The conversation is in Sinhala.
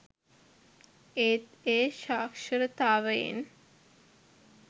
ඒත් ඒ සාක්ෂරතාවයෙන්